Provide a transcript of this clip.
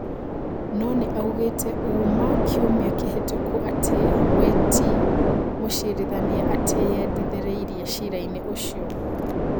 Nonĩ oigĩte ũũma kiumia kĩhetũku atĩ weti mũcirithania atĩyendithĩrĩirie cira-inĩ ũcio